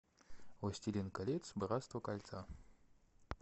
властелин колец братство кольца